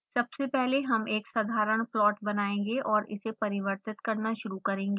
सबसे पहले हम एक साधारण प्लॉट बनायेंगे और इसे परिवर्तित करना शुरू करेंगे